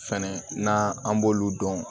Fɛnɛ n'an an b'olu dɔn